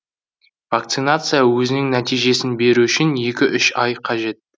вакцинация өзінің нәтижесін беру үшін екі үш ай қажет